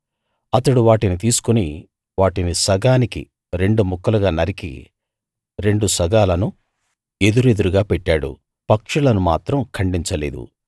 అతడు వాటిని తీసుకుని వాటిని సగానికి రెండు ముక్కలుగా నరికి రెండు సగాలను ఎదురెదురుగా పెట్టాడు పక్షులను మాత్రం ఖండించలేదు